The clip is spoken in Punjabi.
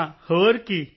ਹਾਂ ਹੋਰ ਕੀ